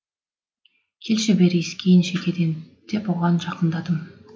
келші бері иіскейін шекеден деп оған жақындадым